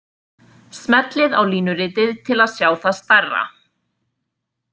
Smellið á línuritið til að sjá það stærra.